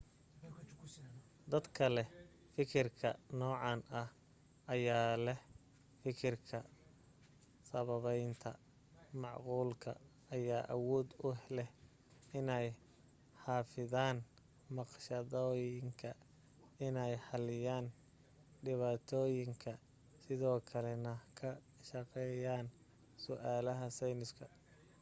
dadka leh fikirka noocan ah ayaa leh fikirka sababaynta macquulka ayaa awood u leh inay xafidaan naqshadooyinka inay xaliyaan dhibaatooyinka sidoo kale na ka shaqeeyaan su'aalaha sayniska